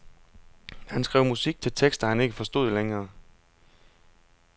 Han skrev musik til tekster han ikke forstod længere.